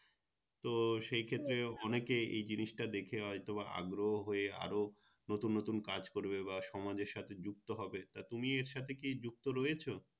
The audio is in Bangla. তো সেই ক্ষেত্রে অনেকে এই জিনিসটা দেখে হয়তো বা আগ্রহ হয়ে আরও নতুন নতুন কাজ করবে বা সমাজের সাথে যুক্ত হবে তা তুমি এর সাথে কি যুক্ত রয়েছো